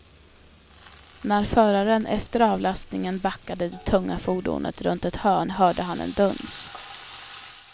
När föraren efter avlastningen backade det tunga fordonet runt ett hörn hörde han en duns.